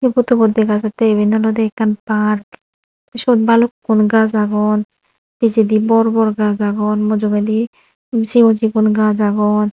pudubot degajatte olodey eben ekan park suot balukkun gaj agon pijedi bor bor gajch agon mujungedi sigon sigon gajch agon.